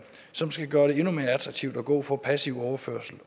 som skal gøre det endnu mere attraktivt at gå fra passiv overførsel